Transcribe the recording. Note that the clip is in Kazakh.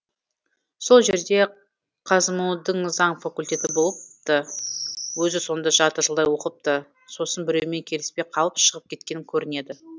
сол жерде қазму дің заң факультеті болыпты өзі сонда жарты жылдай оқыпты сосын біреумен келіспей қалып шығып кеткен көрінеді